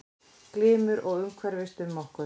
Glymur og hverfist um okkur.